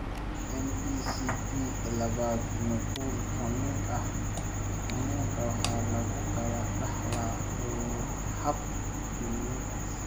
MECP labaad nuqul ka mid ah xanuunka waxaa lagu kala dhaxlaa hab xiriirin X.